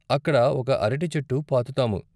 అక్కడ ఒక అరటి చెట్టు పాతుతాము.